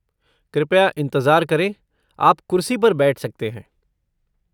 कृपया इंतज़ार करें, आप कुर्सी पर बैठ सकते हैं।